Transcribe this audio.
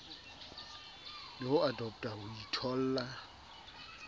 le ho adoptha ho itholla